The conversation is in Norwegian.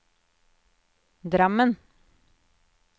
Drammen